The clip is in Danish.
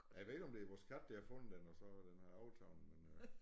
Jeg ved ikke om det er vores kat der har fundet den og så har den overtaget men øh